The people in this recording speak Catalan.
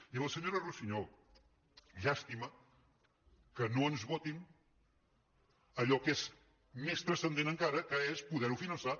i a la senyora russiñol llàstima que no ens votin allò que és més transcendent encara que és poder·ho fi·nançar